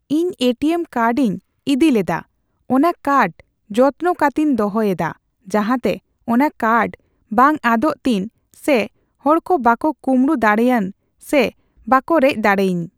ᱤᱧ ᱮᱴᱤᱭᱮᱢ ᱠᱟᱴᱤᱧ ᱤᱫᱤᱞᱮᱫᱟ ᱚᱱᱟᱠᱟᱴ ᱡᱚᱛᱱᱚ ᱠᱟᱛᱮᱧ ᱫᱚᱦᱚᱭᱮᱫᱟ ᱡᱟᱦᱟᱸᱛᱮ ᱚᱱᱟᱠᱟᱴ ᱵᱟᱝ ᱟᱫᱚᱜᱛᱤᱧ ᱥᱮ ᱦᱚᱲᱦᱚᱸ ᱵᱟᱠᱚ ᱠᱩᱢᱲᱩ ᱫᱟᱲᱮᱭᱟᱹᱧ ᱥᱮ ᱵᱟᱠᱚ ᱨᱮᱡᱫᱟᱲᱤᱭᱟᱹᱧ